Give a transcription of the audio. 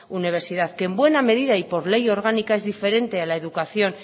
universidad que en buena medida y por ley orgánica es diferente a la educación